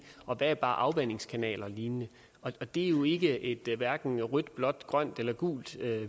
og hvad er bare afvandingskanaler og lignende det er jo ikke et hverken rødt blåt grønt eller gult